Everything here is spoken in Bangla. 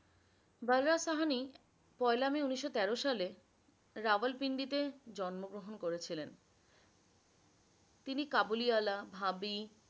বলরাজ সাহানি পয়লা মে উনিশশ তের সালে রাওয়ালপিন্ডি তে জন্ম গ্রহন করেছিলেন। তিনি কাবুলিওয়ালা, ভাবি,